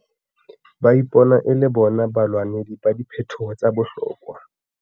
Ba ipona e le bona balwanedi ba diphetoho tsa bohlokwa.